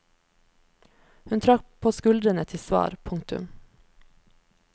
Hun trakk på skuldrene til svar. punktum